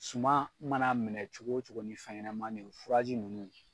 Suman mana minɛ cogo o cogo ni fɛn ɲɛnamanin ye o furaji ninnu.